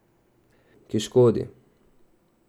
Ki škodi.